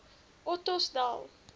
ottosdal